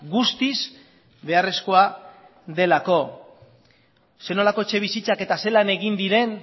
guztiz beharrezkoa delako zer nolako etxebizitzak eta zelan egin diren